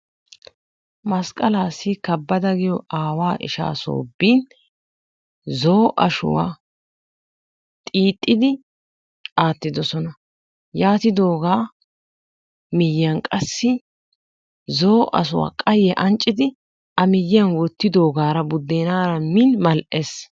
Masqalaasi kabada giyoo aawaa ishshaa soo bin zoo"o ashshuwaa xiixidi aattidoosona. yaatidoogaa miyiyaan qassi zoo"o ahahuwaa qaayyiyaa anccidi a miyiyaan woottidogaara budenaara min mal"ees.